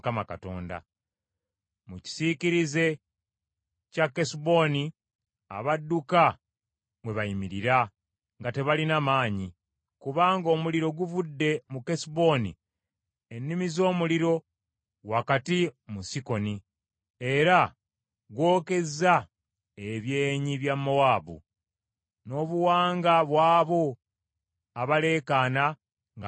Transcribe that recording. “Mu kisiikirize kya Kesuboni, abadduka mwe bayimirira nga tebalina maanyi, kubanga omuliro guvudde mu Kesuboni, ennimi z’omuliro wakati mu Sikoni, era gw’okezza ebyenyi bya Mowaabu, n’obuwanga bw’abo abaleekaana nga beewaanawaana.